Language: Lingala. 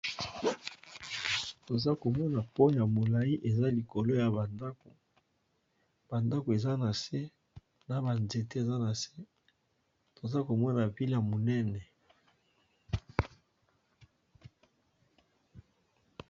Toza komona pot yamolayi eza likolo ya bandako, bandako eza na se na banzete eza na se toza komona ville ya monene.